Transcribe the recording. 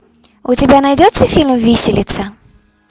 у тебя найдется фильм виселица